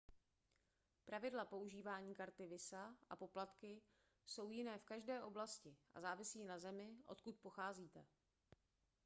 pravidla používání karty visa a poplatky jsou jiné v každé oblasti a závisejí na zemi odkud pocházíte